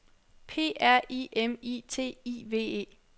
P R I M I T I V E